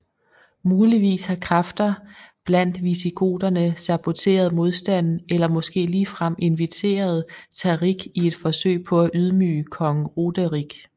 Muligvis har kræfter blandt visigoterne saboteret modstanden eller måske ligefrem inviteret Tariq i et forsøg på at ydmyge kong Roderik